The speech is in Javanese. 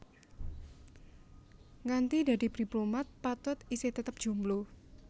Nganti dadi diplomat Patut isih tetep jomblo